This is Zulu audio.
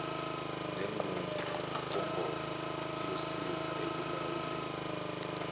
lenqubomgomo iyosiza ekulawuleni